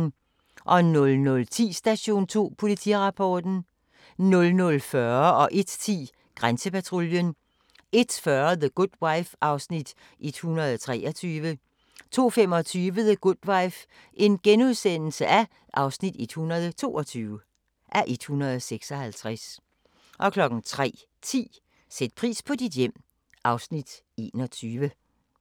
00:10: Station 2: Politirapporten 00:40: Grænsepatruljen 01:10: Grænsepatruljen 01:40: The Good Wife (123:156) 02:25: The Good Wife (122:156)* 03:10: Sæt pris på dit hjem (Afs. 21)